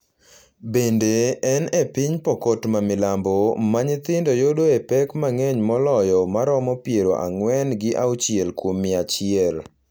Bende, en e piny Pokot ma milambo ma nyithindo yudoe pek mang’eny moloyo ma romo piero ang'wen gi auchiel kuom mia achiel,